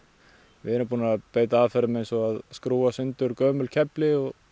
við erum búnir að beita aðferðum eins og að skrúfa í sundur gömul kefli og